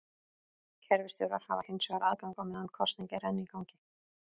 Kerfisstjórar hafa hins vegar aðgang á meðan kosning er enn í gangi.